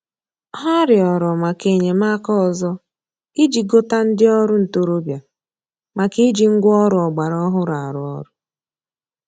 Ha rịọrọ maka enyemaka ọzọ iji gota ndị ọrụ ntoroọbịa maka iji ngwa ọrụ ọgbara ọhụrụ arụ ọrụ